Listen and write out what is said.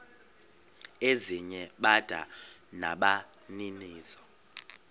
ezinye bada nabaninizo